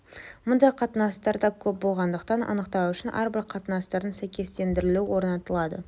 мұндай қатынастар да көп болғандықтан анықтау үшін әрбір қатынастардың сәйкестендірілуі орнатылады